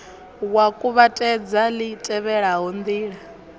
wa kuvhatedza li tevhelaho ndila